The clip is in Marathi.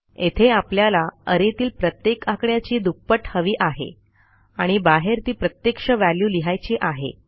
येथे आपल्याला arrayतील प्रत्येक आकड्याची दुप्पट हवी आहे आणि बाहेर ती प्रत्यक्ष व्हॅल्यू लिहायची आहे